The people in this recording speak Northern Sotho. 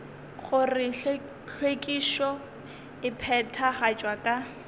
gore hlwekišo e phethagatšwa ka